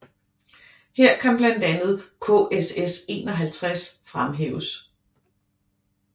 Her kan blandt andet KSS 51 fremhæves